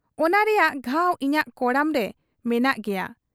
ᱚᱱᱟ ᱨᱮᱭᱟᱜ ᱜᱷᱟᱣ ᱤᱧᱟᱹᱜ ᱠᱚᱲᱟᱢᱨᱮ ᱢᱮᱱᱟᱜ ᱜᱮᱭᱟ ᱾